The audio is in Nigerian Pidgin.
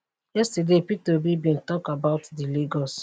yesterday peter obi bin tok about di lagos